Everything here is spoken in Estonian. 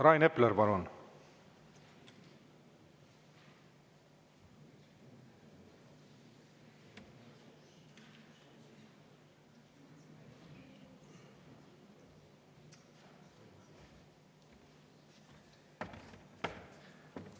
Rain Epler, palun!